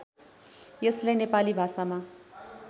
यसलाई नेपाली भाषामा